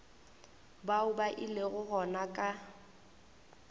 bao ba ilego gona ka